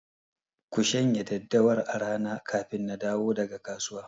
Ku shanya daddawar a rana kafin na dawo daga kasuwa!